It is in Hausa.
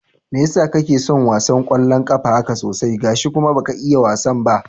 Mai yasa kake son wasan ƙwallon ƙafa haka sosai, gashi kuma baka iya wasan ba?